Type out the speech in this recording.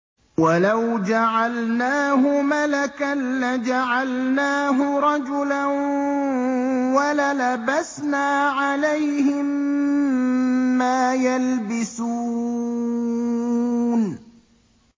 وَلَوْ جَعَلْنَاهُ مَلَكًا لَّجَعَلْنَاهُ رَجُلًا وَلَلَبَسْنَا عَلَيْهِم مَّا يَلْبِسُونَ